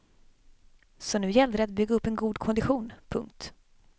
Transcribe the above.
Så nu gällde det att bygga upp en god kondition. punkt